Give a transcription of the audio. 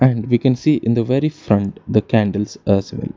And we can see in the very front the candles as well.